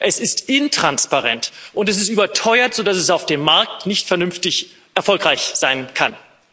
Es ist intransparent, und es ist überteuert, sodass es auf dem Markt nicht vernünftig erfolgreich sein kann.